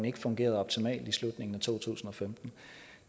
ikke fungerede optimalt i slutningen af to tusind og femten